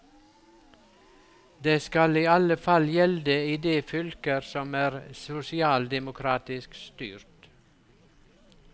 Det skal i alle fall gjelde i de fylker som er sosialdemokratisk styrt.